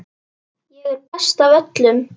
Ég er bestur af öllum!